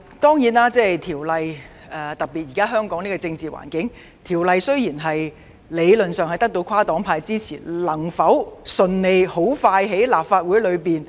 不過，在香港當前的政治環境下，雖然在理論上，《條例草案》得到跨黨派支持，但能否順利並迅速在立法會內通